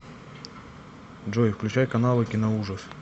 джой включай каналы киноужас